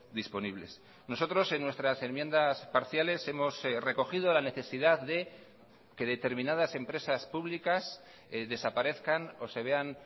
disponibles nosotros en nuestras enmiendas parciales hemos recogido la necesidad de que determinadas empresas públicas desaparezcan o se vean